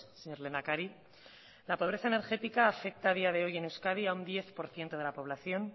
señor lehendakari la pobreza energética afecta a día de hoy en euskadi a un diez por ciento de la población